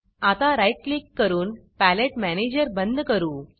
आता right click करून palette manager बंद करू